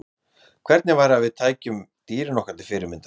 Hvernig væri að við tækjum dýrin okkur til fyrirmyndar?